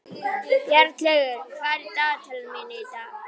Bjarnlaugur, hvað er á dagatalinu í dag?